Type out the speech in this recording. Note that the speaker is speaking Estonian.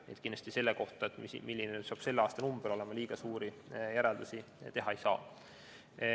Nii et kindlasti selle kohta, milline saab olema selle aasta number, liiga suuri järeldusi teha ei saa.